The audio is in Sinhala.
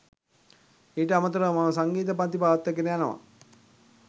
ඊට අමතරව මම සංගීත පංති පවත්වාගෙන යනවා.